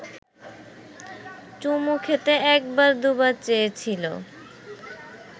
চুমু খেতে একবার দু’বার চেয়েছিল